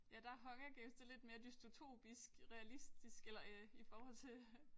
Ja der er Hunger Games det er lidt mere dystopisk realistisk eller i forhold til